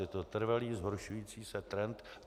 Je to trvalý zhoršující se trend.